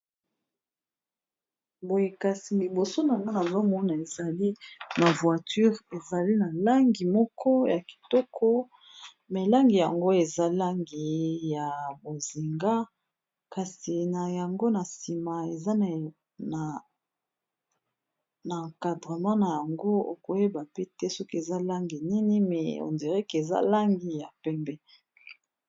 boyekasi liboso na nana zomona ezali na voiture ezali na langi moko ya kitoko me langi yango eza langi ya bozinga kasi na yango na nsima eza na encadrement na yango okoyeba pe te soki eza langi nini me endiriqe eza langi ya pembe